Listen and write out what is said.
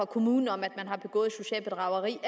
kommunen om at man har begået socialt bedrageri